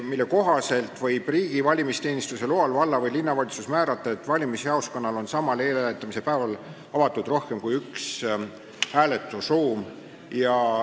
Selle kohaselt võib riigi valimisteenistuse loal valla- või linnavalitsus määrata, et valimisjaoskonnal on samal eelhääletamise päeval avatud rohkem kui üks hääletusruum.